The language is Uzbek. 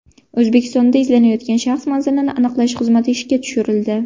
O‘zbekistonda izlanayotgan shaxs manzilini aniqlash xizmati ishga tushirildi.